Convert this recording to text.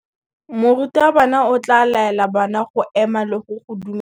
Morutabana o tla laela bana go ema le go go dumedisa.